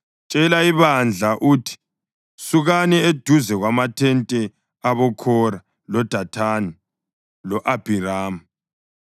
“Tshela ibandla uthi, ‘Sukani eduze kwamathente aboKhora, loDathani lo-Abhiramu.’ ”